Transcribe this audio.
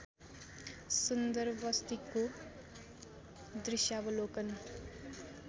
सुन्दर वस्तीको दृश्यावलोकन